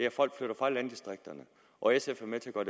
at folk flytter fra landdistrikterne og sf er med til at